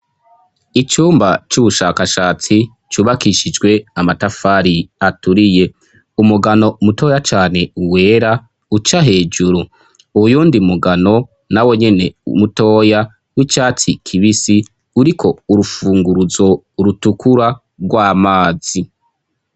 Icumba c'ubushakashatsi, cubakishijwe amatafari aturiye, umugano mutoya cane wera uca hejuru, uyundi mugano nawo nyene mutoya w'icatsi kibisi, uriko urufunguruzo rutukura rw'amazi.